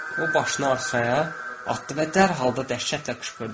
O başını arxaya atdı və dərhal da dəhşətlə qışqırdı.